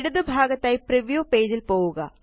ഇടതുഭാഗത്തായി preview പേജില് പോവുക